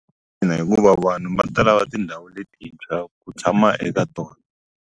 Ina hikuva vanhu va tala ka tindhawu letintshwa ku tshama eka tona.